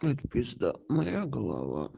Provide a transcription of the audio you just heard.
ну это пизда моя голова